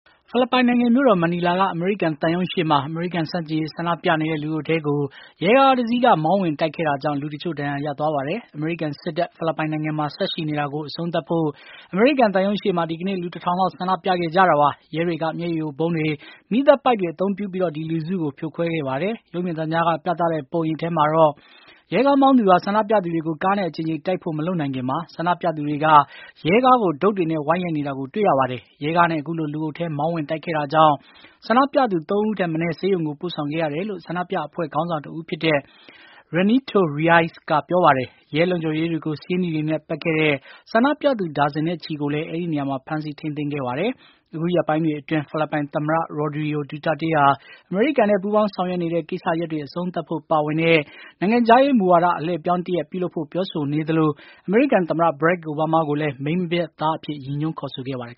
ဖိလစ်ပိုင်နိုင်ငံ မြို့တော် မနီလာက အမေရိကန်သံရုံး အပြင်ဘက်မှာ အမေရိကန်ဆန့်ကျင်ရေး ဆန္ဒပြနေတဲ့ လူအုပ်ထဲကို ရဲကားတစီးက မောင်းဝင်တိုက်ခဲ့တာကြောင့် လူအချို့ ဒဏ်ရာရသွားပါတယ်။ အမေရိကန်စစ်တပ် ဖိလစ်ပိုင်နိုင်ငံမှာ ဆက်ရှိနေတာကို အဆုံးသတ်ဖို့ အမေရိကန်သံရုံးရှေ့မှာ ဒီကနေ့ လူ ၁ ထောင် လောက် ဆန္ဒပြခဲ့ကြတာပါ။ ရဲတွေက မျက်ရည်ယိုဗုံးတွေ ၊ မီးသတ်ပိုက်တွေ အသုံးပြုပြီး ဒီလူစု ဖြိုခွဲခဲ့ပါတယ်။ ရုပ်မြင်သံကြားက ပြသတဲ့ ပုံရိပ်ထဲမှာတော့ ရဲကားမောင်းသူဟာ ဆန္ဒပြသူတွေကို ကားနဲ့အကြိမ်ကြိမ်တိုက်ဖို့ မလုပ်ခင်မှာ ဆန္ဒပြသူတွေက ရဲကားကို ဒုတ်တွေနဲ့ ဝိုင်းရိုက်နေတာကို တွေ့ရပါတယ်။ ရဲကားနဲ့ အခုလို လူအုပ်ထဲ မောင်းဝင်တိုက်ခဲ့တာကြောင့် ဆန္ဒပြသူ ၃ ဦးထက်မနည်း ဆေးရုံကို ပို့ဆောင်ခဲ့ရတယ်လို့ ဆန္ဒပြအဖွဲ့ ခေါင်းဆောင်တဦးဖြစ်တဲ့ Renato Reyes က ပြောပါတယ်။ ရဲလုံခြုံရေးတွေကို ဆေးနီတွေနဲ့ ပက်ခဲ့တဲ့ ဆန္ဒပြသူ ဒါဇင်နဲ့ချီကိုလည်း အဲဒီနေရာမှာ ဖမ်းဆီးထိန်းသိမ်းခဲ့ပါတယ်။ အခုရက်ပိုင်းတွေအတွင်း ဖိလစ်ပိုင်သမ္မတ Rodrigo Duterte ဟာ အမေရိကန်နဲ့ ပူးပေါင်းဆောင်ရွက်နေတဲ့ ကိစ္စရပ်တွေ အဆုံးသတ်ဖို့ပါဝင်တဲ့ နိုင်ငံခြားရေးမူဝါဒ အလှည့်အပြောင်းတရပ် ပြုလုပ်ဖို့ ပြောဆိုနေသလို အမေရိကန်သမ္မတ Barack Obama ကိုလည်း မိန်းမပျက် သား အဖြစ် ရည်ညွှန်းခေါ်ဆိုခဲ့ပါတယ်